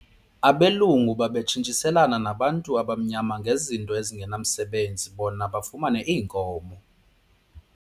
Abelungu babetshintshiselana nabantu abamnyama ngezinto ezingenamsebenzi bona bafumane iinkomo.